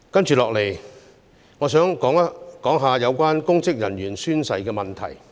接下來，我想談談有關公職人員宣誓的問題。